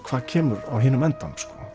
hvað kemur á hinum endanum